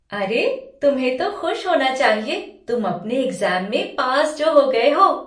अरे, तुम्हें तो खुश होना चाहिए, तुम अपने एग्ज़ाम में पास जो हो गए हो।